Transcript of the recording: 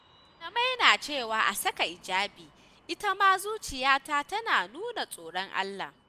Malamai na cewa a saka hijabi ita ma zuciyata tana nuna tsoron Allah.